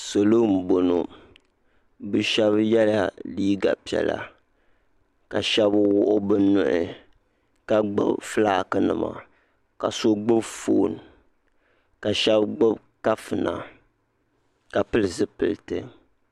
Salo n bɔŋɔ bi shɛba yela liiga piɛlla ka shɛba wuɣi bi nuhi ka gbubi flaki nima ka so gbubi foon ka shɛba gbubi kafuna ka pili zipiliti.